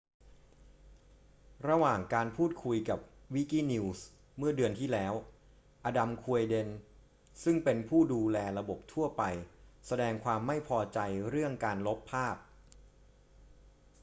ระหว่างการพูดคุยกับ wikinews เมื่อเดือนที่แล้ว adam cuerden ซึ่งเป็นผู้ดูแลระบบทั่วไปแสดงความไม่พอใจเรื่องการลบภาพ